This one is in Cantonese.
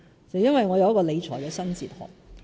是因為我有一個理財新哲學。